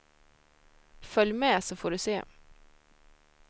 Följ med så får du se.